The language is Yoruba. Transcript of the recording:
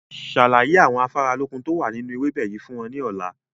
Ṣàlàyé àwọn afáralókun tó wà nínú ewébẹ̀ yìí fún wọn ní ọ̀la!